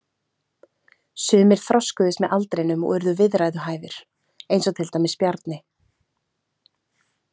Sumir þroskuðust með aldrinum og urðu viðræðuhæfir, eins og til dæmis Bjarni.